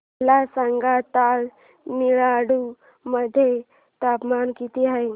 मला सांगा तमिळनाडू मध्ये तापमान किती आहे